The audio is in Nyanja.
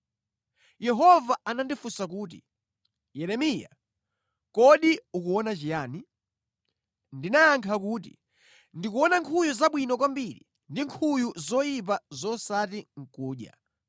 Yehova anandifunsa kuti, “Yeremiya, kodi ukuona chiyani?” Ndinayankha kuti, “Ndikuona nkhuyu zabwino kwambiri ndi nkhuyu zoyipa zosati nʼkudya.”